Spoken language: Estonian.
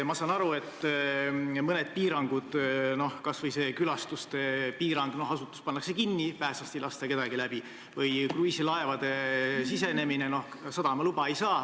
Ma saan aru, et on mõned piirangud – kas või külastuste piirang, noh, asutus pannakse kinni, pääslast ei lasta kedagi läbi, või see, et kruiisilaevad ei saa sadamaluba.